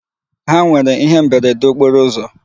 Ha nwere ihe mberede okporo ụzọ.